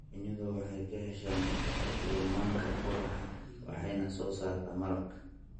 Shinnidu waxay ka heshaa nectar iyo manka ubaxa waxayna soo saartaa malab.